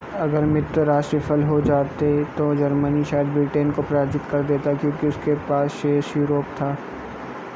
अगर मित्र राष्ट्र विफल हो जाते तो जर्मनी शायद ब्रिटेन को पराजित कर देता क्योंकि उसके पास शेष यूरोप था